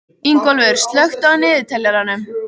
Ingólfur, slökktu á niðurteljaranum.